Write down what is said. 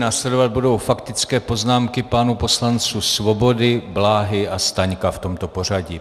Následovat budou faktické poznámky pánů poslanců Svobody, Bláhy a Staňka, v tomto pořadí.